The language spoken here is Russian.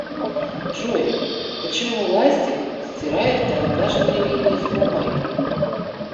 джой почему ластик стирает карандашные линии с бумаги